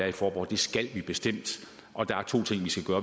i faaborg det skal vi bestemt og der er to ting vi skal gøre